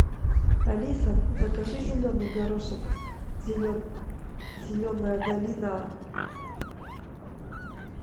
алиса закажи зеленый горошек зеленая долина